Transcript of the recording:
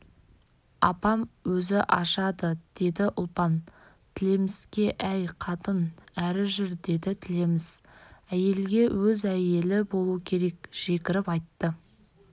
апам өзі ашады деді ұлпан тілеміске әй қатын әрі жүр деді тілеміс әйелге өз әйелі болу керек жекіріп айтты